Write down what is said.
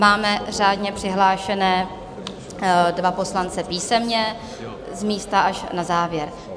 Máme řádně přihlášené dva poslance písemně, z místa až na závěr.